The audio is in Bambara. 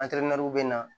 bɛ na